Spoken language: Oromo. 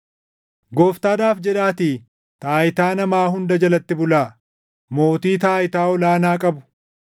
Gooftaadhaaf jedhaatii taayitaa namaa hunda jalatti bulaa; mootii taayitaa ol aanaa qabu